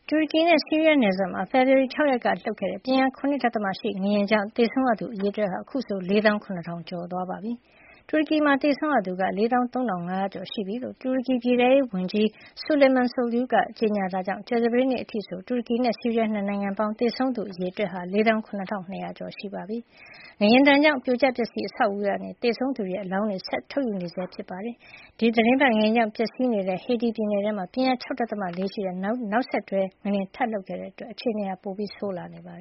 တူရကီနဲ့ ဆီးရီးယား နယ်စပ်မှာ ဖေဖေါ်ဝါရီ ၆ ရက်က လှုပ်ခဲ့တဲ့ ပြင်းအား ၇.၈ ရှိ ငလျင်ကြောင့် သေဆုံးရသူ အရေအတွက်ဟာ အခုဆိုရင် ၄ သောင်း ၇ ထောင်ကျော်သွားပါပြီ။ တူရကီမှာ သေဆုံးရသူက (၄၃ ၅oo) ကျော်ရှိပြီလို့ တူရကီပြည်ထဲရေးဝန်ကြီး Suleyman Soylu က ကြေညာခဲ့တာကြောင့် ကြာသပတေးနေ့ အထိဆို တူရကီနဲ့ ဆီးရီးယား ၂ နိုင်ငံပေါင်း သေဆုံးရသူ အရေအတွက်ဟာ (၄၇ ၂၀၀) ကျော် ရှိသွားပြီဖြစ်ပါတယ်။ ငလျင်ဒဏ်ကြောင့် ပြိုကျပျက်စီးနေတဲ့ အဆောက်အအုံတွေ ထဲကနေ သေဆုံးနေသူတွေရဲ့ အလောင်းတွေ ဆက်ပြီးထုတ်ယူနေဆဲ ဖြစ်ပါတယ်။ ဒီသီတင်းပတ်ထဲမှာပဲ ငလျင်ဒဏ်ကြောင့် ပျက်စီးနေတဲ့ တူရကီနိုင်ငံ Hatay ပြည်နယ်ထဲမှာ ပြင်းအား ၆.၄ ရှိတဲ့ နောက်ဆက်တွဲ ငလျင် ထပ်လှုပ်ခဲ့တာကြောင့် အခြေနေက ပိုဆိုးလာနေတာပါ။